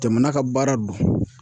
Jamana ka baara don.